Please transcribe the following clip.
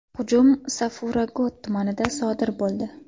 Hujum Safura Got tumanida sodir bo‘ldi.